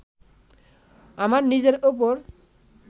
আমার নিজের ওপর